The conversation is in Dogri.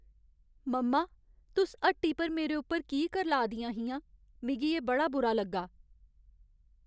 मम्मा! तुस हट्टी पर मेरे उप्पर की करलाऽ दियां हियां, मिगी एह् बड़ा बुरा लग्गा।